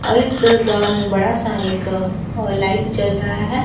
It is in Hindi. और इस ग्राउंड में बड़ा सा एक लाइट जल रहा है।